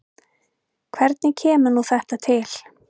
Hvernig kemur nú þetta til?